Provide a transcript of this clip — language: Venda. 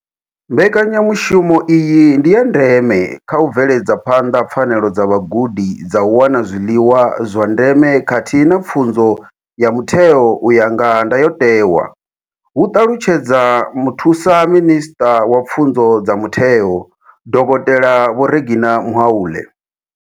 Mbekanyamushumo iyi ndi ya ndeme kha u bveledza phanḓa pfanelo dza vhagudi dza u wana zwiḽiwa zwa ndeme khathihi na pfunzo ya mutheo u ya nga ndayotewa, hu ṱalutshedza Muthusa minisṱa wa pfunzo dza mutheo, dokotela Vho Reginah Mhaule.